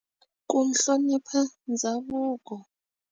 Ku hlonipha ndhavuko.